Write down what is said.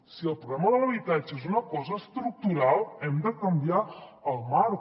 si el problema de l’habitatge és una cosa estructural hem de canviar el marc